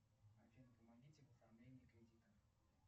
афина помогите в оформлении кредита